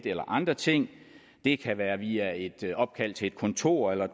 eller andre ting det kan være via et opkald til et kontor eller